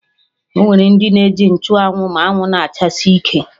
Ọnwere ndị na-eji nchụ anwụ ma anwụ na-achasi ike